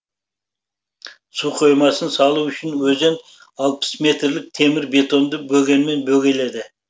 су қоймасын салу үшін өзен алпыс метрлік темір бетонды бөгенмен бөгеледі